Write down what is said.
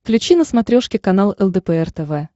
включи на смотрешке канал лдпр тв